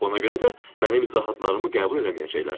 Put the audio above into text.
Ona görə də mənim izahatlarımı qəbul eləməyəcəklər.